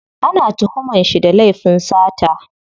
Ana tuhuman shi da laifin sata.